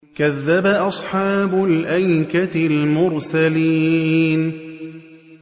كَذَّبَ أَصْحَابُ الْأَيْكَةِ الْمُرْسَلِينَ